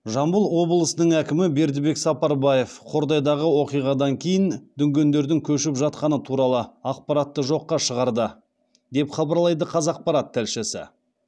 жамбыл обылысының әкімі бердібек сапарбаев қордайдағы оқиғадан кейін дүнгендердің көшіп жатқаны туралы ақпаратты жоққа шығарды деп хабарлайды қазақпарат тілшісі